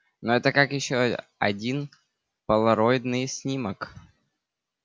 но это как ещё один полароидный снимок